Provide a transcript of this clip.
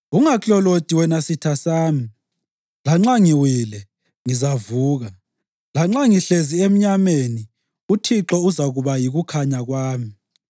Ungaklolodi wena sitha sami! Lanxa ngiwile, ngizavuka. Lanxa ngihlezi emnyameni, uThixo uzakuba yikukhanya kwami.